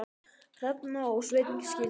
Hrefna og Sveinn skildu.